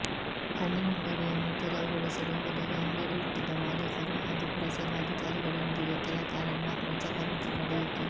ಹಣ್ಣಿನಂಗಡಿಯನ್ನು ತೆರವು ಗೊಳಿಸಲು ಹೋದಾಗ ಅಂಗಡಿ ಇಟ್ಟಿದ್ದ ಮಾಲೀಕರು ಹಾಗೂ ಪುರಸಭಾ ಅಧಿಕಾರಿಗಳೊಂದಿಗೆ ಕೆಲ ಕಾಲ ಮಾತಿನ ಚಕಮಕಿ ನಡೆಯಿತು